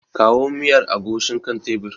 Kawo miyar agushin kan tebir.